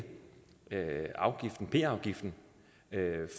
hæve p afgiften